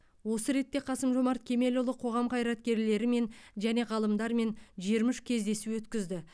осы ретте қасым жомарт кемелұлы қоғам қайраткерлерімен және ғалымдармен жиырма үш кездесу өткізді